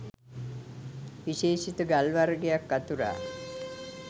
විශේෂිත ගල් වර්ගයක් අතුරා